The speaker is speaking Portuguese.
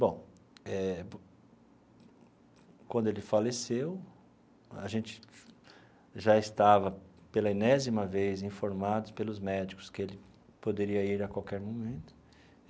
Bom, eh quando ele faleceu, a gente já estava, pela enésima vez, informados pelos médicos que ele poderia ir a qualquer momento.